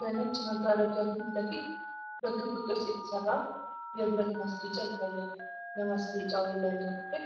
በነጭ መጋረጃ ፊት ለፊት በክብ ቅርጽ የተሠራ የብረት ማስጌጫ ይታያል። የማስጌጫው የላይኛው ክፍል